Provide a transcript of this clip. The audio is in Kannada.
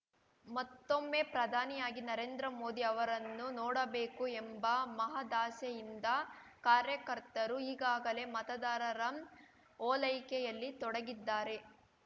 ಮತ್ತೊಮ್ಮೆ ಪ್ರಧಾನಿಯಾಗಿ ನರೇಂದ್ರ ಮೋದಿ ಅವರನ್ನು ನೋಡಬೇಕು ಎಂಬ ಮಹದಾಸೆಯಿಂದ ಕಾರ್ಯಕರ್ತರು ಈಗಾಗಲೇ ಮತದಾರರ ಓಲೈಕೆಯಲ್ಲಿ ತೊಡಗಿದ್ದಾರೆ